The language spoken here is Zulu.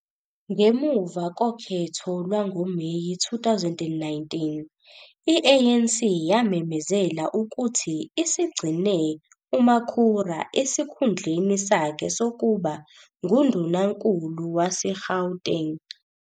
Ngemuva kokhetho lwangoMeyi 2019, i-ANC yamemezela ukuthi isigcine uMakhura esikhundleni sakhe sokuba nguNdunankulu waseGauteng.